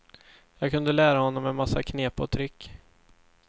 Jag kunde lära honom en massa knep och trick.